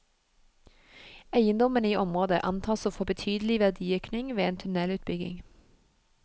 Eiendommene i området antas å få betydelig verdiøkning ved en tunnelutbygging.